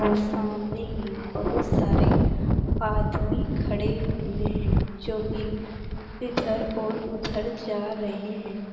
और सामने ही बहुत सारे आदमी खड़े हुए हैं जो की इधर और उधर जा रहे हैं।